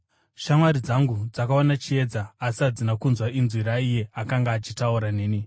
Shamwari dzangu dzakaona chiedza, asi hadzina kunzwa inzwi raiye akanga achitaura neni.